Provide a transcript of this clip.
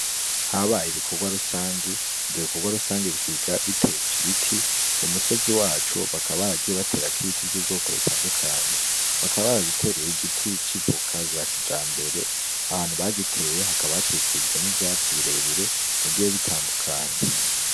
Habaye ibikorwa rusangi ,ivyo bikorwa rusangi bisiga biteje ibiti ku musozi wacu bakaba baragiye baterako ibiti vy'ubwoko butandukanye bakaba baradutereye igiti c'ivoka za kijambere ahantu bagiteye hakaba hakikujwe n'ivyatsi birebire bigiye bitandukanye.